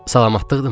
Salamatlıqdımı?